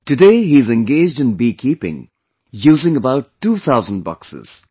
Today he is engaged in beekeeping using about two thousand boxes